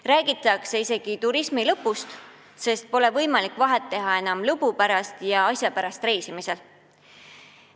Räägitakse isegi turismi lõpust, sest pole enam võimalik teha vahet lõbu pärast ja asja pärast reisimisel.